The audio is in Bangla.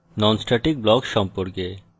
non static block সম্পর্কে